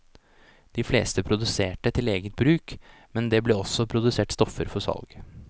De fleste produserte til eget bruk, men det ble også produsert stoffer for salg.